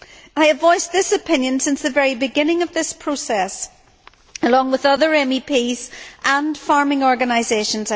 I have voiced this opinion since the very beginning of this process, along with other MEPs and farming organisations.